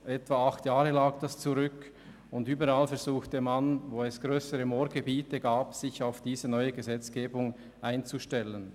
Überall, wo es grössere Moorgebiete gab, versuchte man sich auf die neue Gesetzgebung einzustellen.